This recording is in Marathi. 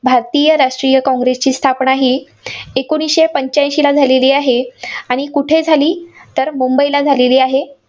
भारतीय राष्ट्रीय काँग्रेसची स्थापना ही एकोणीसशे पंच्याऐंशीला झालेली आहे. आणि कुठे झाली तर मुंबईला झालेली आहे.